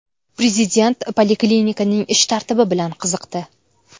Prezident poliklinikaning ish tartibi bilan qiziqdi.